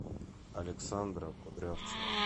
александра кудрявцева